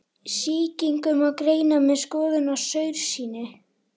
Sýkingu má greina með skoðun á saursýni.